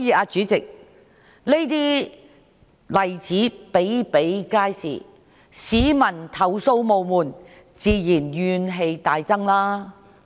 主席，這些例子比比皆是，市民投訴無門，自然怨氣大增。